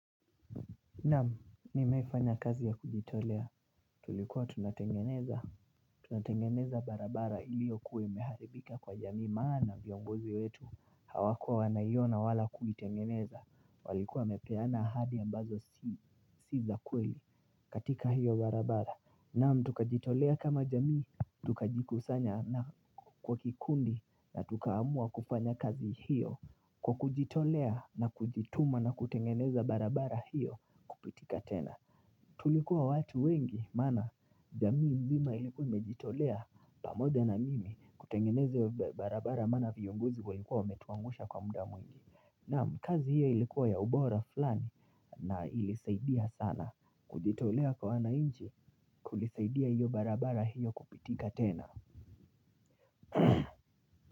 Namu, nimefanya kazi ya kujitolea, tulikuwa tunatengeneza Tunatengeneza barabara iliyo kuwa imeharibika kwa jamii maana viongozi wetu Hawakua wanaiona wala kuitengeneza, walikuwa wamepeana ahadi ambazo si si za kweli katika hiyo barabara Namu, tukajitolea kama jamii, tukajikusanya na kwa kikundi na tukaamua kufanya kazi hiyo Kwa kujitolea na kujituma na kutengeneza barabara hiyo kupitika tena Tulikuwa watu wengi maana jamii mzima ilikuwa imejitolea pamoja na mimi kutengeneza barabara maana viongozi walikuwa wametuangusha kwa muda mwingi na kazi hiyo ilikuwa ya ubora fulani na ilisaidia sana kujitolea kwa wanainchi kulisaidia hiyo barabara hiyo kupitika tena.